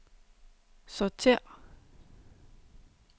sortér